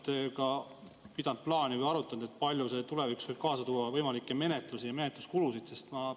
Ja kas te olete ka arutanud, kui palju see tulevikus võib kaasa tuua võimalikke menetlusi ja menetluskulusid?